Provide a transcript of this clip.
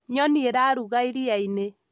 nyoni irarũga iria-inĩ